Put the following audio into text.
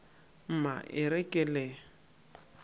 mma e re ke le